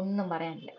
ഒന്നും പറയാനില്ല